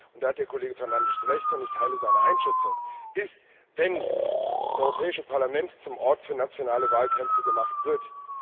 Da hat Kollege Fernandes Recht, und ich teile seine Einschätzung, wenn das Europäische Parlament zum Ort für nationale Wahlkämpfe gemacht wird.